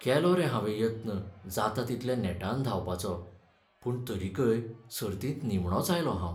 केलो रे हावें यत्न जाता तितल्या नेटान धांवपाचो, पूण तरीकय सर्तींत निमणोंच आयलों हांव.